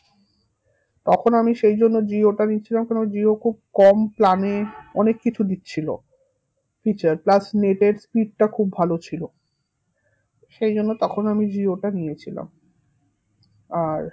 তখন আমি সেই জন্য জিও টা নিয়েছিলাম কেন জিও খুব কম plan এ অনেক কিছু দিচ্ছিলো feature plus net এর speed টা খুব ভালো ছিল সেই জন্য তখন আমি জিও টা নিয়েছিলাম আর